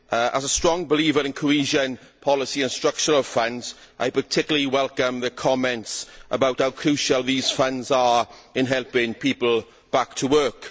As a strong believer in cohesion policy and Structural Funds, I particularly welcome the comments about how crucial these funds are in helping people back to work.